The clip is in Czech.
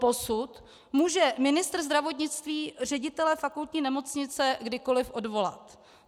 Doposud může ministr zdravotnictví ředitele fakultní nemocnice kdykoliv odvolat.